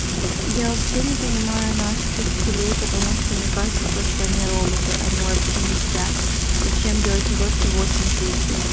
я вообще не понимаю наших учителей потому что мне кажется то что они роботы они вообще не спят зачем делать уроки восемь тридцать